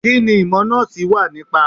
Kí ni ìmọ̀ Nọ́ọ̀sì wà nípa.?